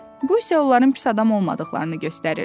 Bu isə onların pis adam olmadıqlarını göstərirdi.